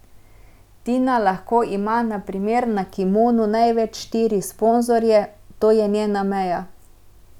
Tina lahko ima na primer na kimonu največ štiri sponzorje, to je njena meja.